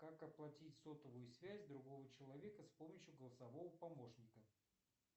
как оплатить сотовую связь другого человека с помощью голосового помощника